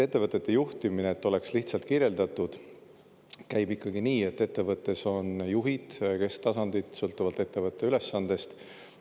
Ettevõtete juhtimine – et oleks lihtsalt kirjeldatud – käib ikkagi nii, et ettevõttes on juhid ja kesktasandid, sõltuvalt ettevõtte ülesandest.